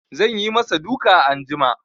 Zan yi ma sa duka anjima